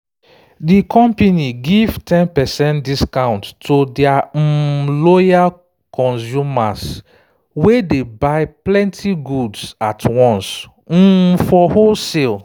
di company give ten percent discount to their um loyal customers wey dey buy plenty goods at once um for wholesale